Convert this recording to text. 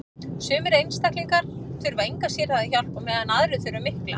sumir einstaklingar þurfa enga sérhæfða hjálp á meðan aðrir þurfa mikla